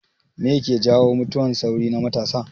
Me ke jawo mutuwan sauri na matasa